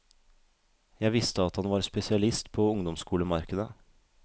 Jeg visste at han var spesialist på ungdomsskolemarkedet.